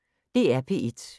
DR P1